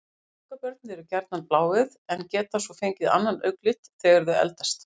Ungabörn eru gjarnan bláeygð en geta svo fengið annan augnlit þegar þau eldast.